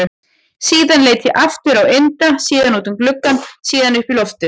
Síðan leit ég aftur á Inda, síðan út um gluggann, síðan upp í loftið.